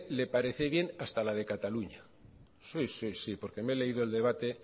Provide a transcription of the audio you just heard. le parece bien hasta la de cataluña sí sí porque me he leído el debate